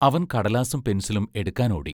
അവൻ കടലാസും പെൻസിലും എടുക്കാൻ ഓടി.